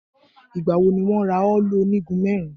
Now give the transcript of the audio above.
Ìgbà wo ni wọn rà òòlù onígun mẹ́rin?